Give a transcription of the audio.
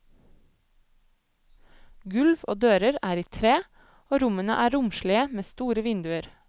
Gulv og dører er i tre, og rommene er romslige med store vinduer.